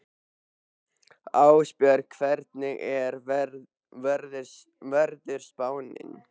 Ástbjörg, hvernig er veðurspáin?